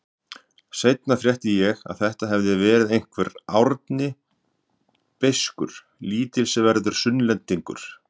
Seinna frétti ég að þetta hefði verið einhver Árni beiskur, lítilsverður Sunnlendingur.